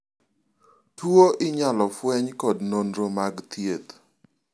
tuo inyalo fweny kod nonro mag thieth